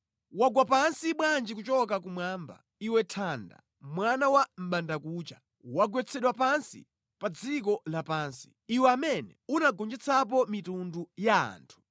Wagwa pansi bwanji kuchoka kumwamba, iwe nthanda, mwana wa mʼbandakucha! Wagwetsedwa pansi pa dziko lapansi, Iwe amene unagonjetsapo mitundu ya anthu!